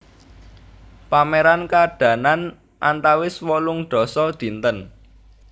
Pameran kaadanan antawis wolung dasa dinten